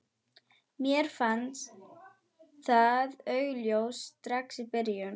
Mér fannst það augljóst strax í byrjun.